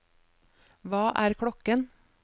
hva er klokken